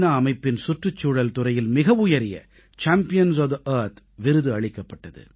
அமைப்பின் சுற்றுச்சூழல் துறையில் மிக உயரிய சாம்பியன்ஸ் ஒஃப் தே ஆர்த் விருது அளிக்கப்பட்டது